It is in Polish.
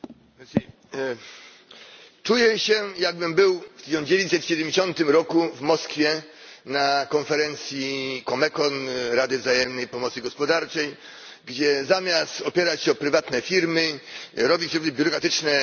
Czuję się, jakbym był w 1970 roku w Moskwie na konferencji Comecon Rady Wzajemnej Pomocy Gospodarczej, gdzie zamiast opierać się o prywatne firmy, robi się biurokratyczne wymysły państwowe.